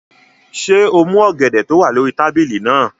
Ṣé o mú ọ̀gẹ̀dẹ̀ tó wà lórí tábìlì náà?